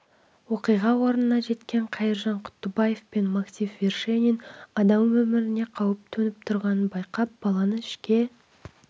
оқиға орнына жеткен қайыржан құттыбаев пен максим вершинин адам өміріне қауіп төніп тұрғанын байқап баланы ішке